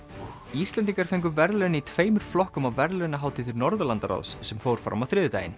Íslendingar fengu verðlaun í tveimur flokkum á verðlaunahátíð Norðurlandaráðs sem fór fram á þriðjudaginn